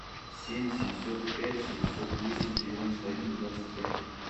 семь семьсот пять семьсот десять девяносто один двадцать пять